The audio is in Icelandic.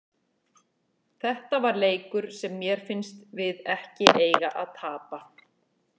Þetta var leikur sem mér fannst við ekki eiga að tapa.